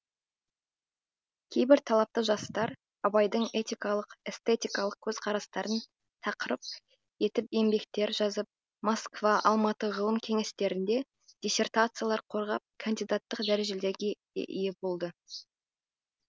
кейбір талапты жастар абайдың этикалық эстетикалық көзқарастарын тақырып етіп еңбектер жазып москва алматы ғылым кеңестерінде диссертациялар қорғап кандидаттық дәрежелерге де ие болды